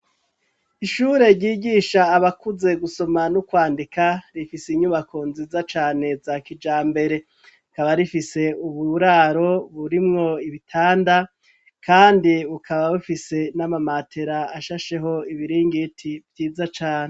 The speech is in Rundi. Ishure ryigisha abakuze gusoma n'ukwandika rifise inyubako nziza cane za kija mbere kaba rifise uburaro burimwo ibitanda, kandi ukaba bufise n'amamatera ashasheho ibiringiti vyiza cane.